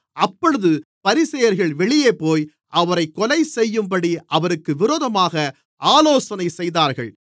அப்பொழுது பரிசேயர்கள் வெளியேபோய் அவரைக் கொலைசெய்யும்படி அவருக்கு விரோதமாக ஆலோசனை செய்தார்கள்